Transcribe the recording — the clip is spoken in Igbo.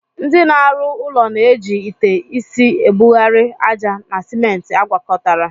Ndị na-arụ ụlọ na-eji ite isi ebugharị ájá na simenti agwakọtara.